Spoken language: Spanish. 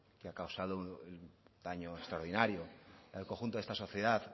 que ha causado un daño extraordinario en el conjunto de esta sociedad